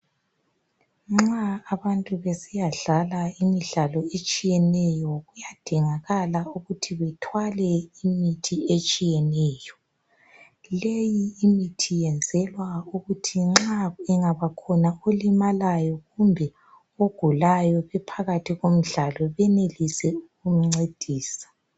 Nxa abantu besiyadlala imdlalo etshiyeneyo .Kuyadingakala ukuthi bethwale imithi etshiyeneyo .Leyi imithi yenzelwa ukuthi nxa engabakhona olimaliyo kumbe ogulayo bephakathi komdlalo benelise ukumncedisa .